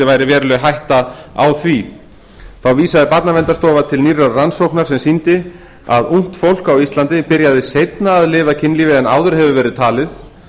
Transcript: væri veruleg hætta á því þá vísaði barnaverndarstofa til nýrrar rannsóknar sem sýndi að ungt fólk á íslandi byrjaði seinna að lifa kynlífi en áður hefði verið talið